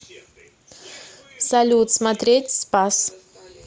салют смотреть спас